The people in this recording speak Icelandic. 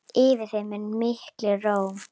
Yfir þeim er mikil ró.